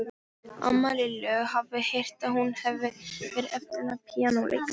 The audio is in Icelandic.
Amma Lillu hafði heyrt að hún hefði verið efnilegur píanóleikari.